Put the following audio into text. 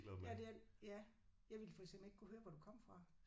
Ja det er de ja. Jeg ville for eksempel ikke kunne høre hvor du kom fra